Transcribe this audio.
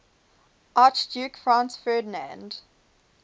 archduke franz ferdinand